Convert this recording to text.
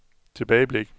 tilbageblik